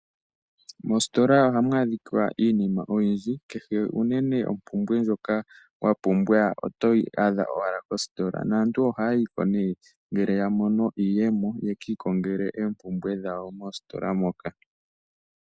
Mositola ohamu adhika iinima oyindji kehe uunene ompumbwe ndjoka wa pumbwa otoyi adha mositola naantu ohaayiko nee ngele ya mono iiyemo ye kiikongele oompumbwe dhawo mositola moka .